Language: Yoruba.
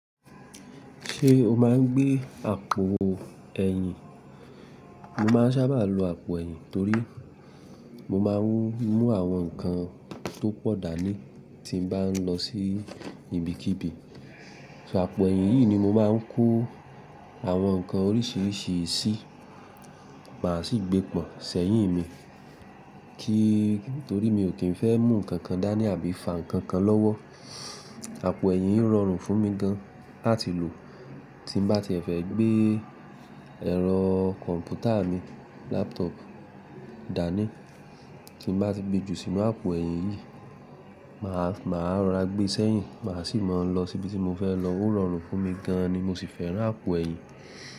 Ṣé o máa ń gbé àpò ẹ̀yìn? Mo máa ń sábà lo àpò ẹ̀yìn torí mo máa ń mú àwọn nǹkan tó pọ̀ dání tí mo bá ń lọ sí ibikíbi. Ṣó àpò ẹ̀yìn yìí ni mo máa ń kó àwọn nǹkan oríṣiríṣi sí, màá sì gbé pọ̀n sẹ́yìn mi torí mi ò kí ń fẹ́ mú nǹkan kan dání àbí fa nǹkan kan lọ́wọ́. Àpò ẹ̀yìn yìí rọrùn fún mi gan án láti lò tí mo bá ti fẹ́ gbé ẹ̀rọ kọ̀m̀pútà mi dání. Tí mo bá ti gbe jù sínú àpò ẹ̀yìn yìí, màá rora gbé sẹ́yìn, màá sì mọ̀ ń lọ síbi tí mo fẹ́ lọ. Ó rọrùn fún mi gan ni, mo sì fẹ́ràn àpò ẹ̀yìn.